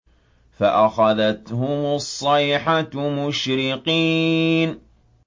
فَأَخَذَتْهُمُ الصَّيْحَةُ مُشْرِقِينَ